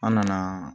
An nana